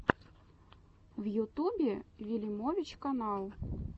в ютубе вилимович канал